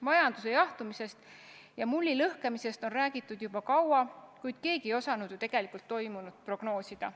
Majanduse jahtumisest ja mulli lõhkemisest on räägitud juba kaua, kuid keegi ei osanud toimunut tegelikult prognoosida.